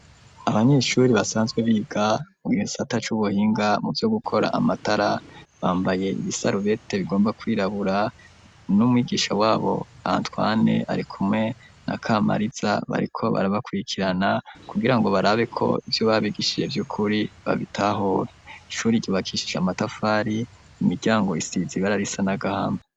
Abanyeshure basanzwe biga mugihesata c'ubuhinga mu byo gukora amatara bambaye ibisarubete bigomba kwirabura n'umwigisha wabo antwane arikumwe na kamariza bariko barabakwikirana kugira ngo barabiko ibyo babigishije by'ukuri babitahora, ishuri ryubakishise amatafari imiryango isizi ibara risa nagahama.